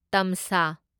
ꯇꯝꯁꯥ